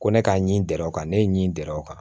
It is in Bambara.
Ko ne ka ɲi gɛrɛ o kan ne ye ɲi gɛrɛ o kan